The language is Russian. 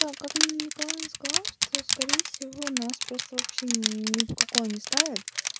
как нина николаевна сказала что скорее всего нас просто вообще ни в какое не ставят